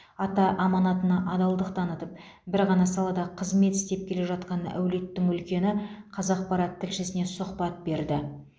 ата аманатына адалдық танытып бір ғана салада қызмет істеп келе жатқан әулеттің үлкені қазақпарат тілшісіне сұхбат берді